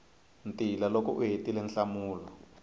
ntila loko u hetile nhlamulo